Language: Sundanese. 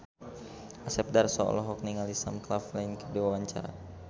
Asep Darso olohok ningali Sam Claflin keur diwawancara